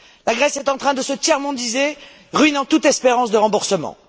La Grèce est en train de se tiers mondiser, ruinant toute espérance de remboursement.